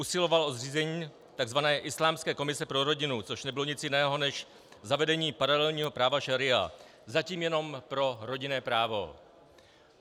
Usiloval o zřízení tzv. islámské komise pro rodinu, což nebylo nic jiného než zavedení paralelního práva šaría, zatím jenom pro rodinné právo.